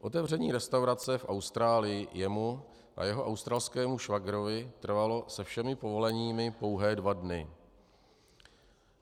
Otevření restaurace v Austrálii jemu a jeho australskému švagrovi trvalo se všemi povoleními pouhé dva dny.